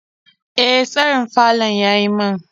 E, tsarin falon ya yi min.